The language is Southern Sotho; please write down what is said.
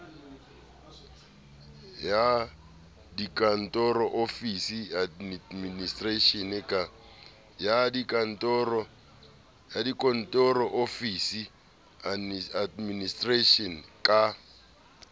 ya dikantoro office administration ka